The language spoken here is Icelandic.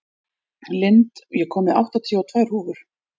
Lind, ég kom með áttatíu og tvær húfur!